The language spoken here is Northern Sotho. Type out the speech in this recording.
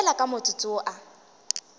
fela ka motsotso wo a